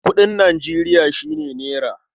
Kuɗin Nijeriya shi ne nera.